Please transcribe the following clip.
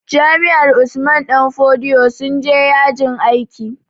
Jami'ar Usman danfodiyo sun je yajin aiki